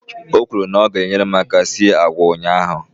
O kwuru na ya gaara I nyere m aka sie agwa ụnyaahụ.